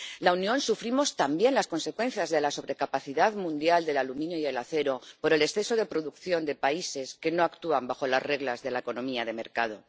En la Unión sufrimos también las consecuencias de la sobrecapacidad mundial del aluminio y el acero por el exceso de producción de países que no actúan bajo las reglas de la economía de mercado.